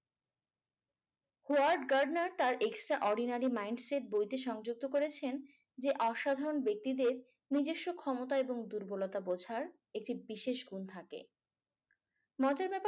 Word Gardner তার extraordinary minds এর বইতে সংযুক্ত করেছেন যে অসাধারণ ব্যক্তিদের নিজস্ব ক্ষমতা এবং দুর্বলতা বুঝার একটি বিশেষ গুণ থাকে। মজার ব্যাপার